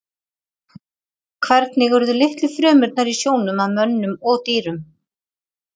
Hvernig urðu litlu frumurnar í sjónum að mönnum og dýrum?